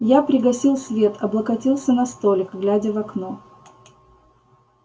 я пригасил свет облокотился на столик глядя в окно